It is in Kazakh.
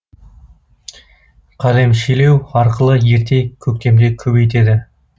қалемшелеу арқылы ерте көктемде көбейтеді